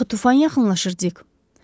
Axı tufan yaxınlaşır Dik.